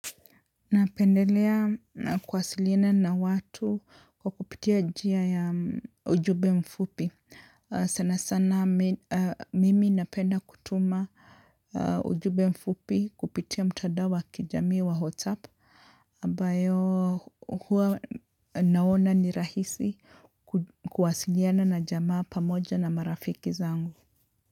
Napendelea na kuwasiliana na watu kwa kupitia njia ya ujumbe mfupi. Sana sana mimi napenda kutuma ujumbe mfupi kupitia mtandao wa kijami whatsapp. Ambayo huwa naona ni rahisi kuwasiliana na jamaa pamoja na marafiki zangu.